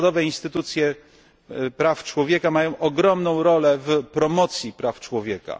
Narodowe instytucje praw człowieka mają ogromną rolę w promocji praw człowieka.